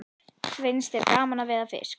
Finnst þér gaman að veiða fisk?